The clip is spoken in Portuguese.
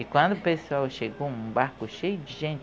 E quando o pessoal chegou, um barco cheio de gente,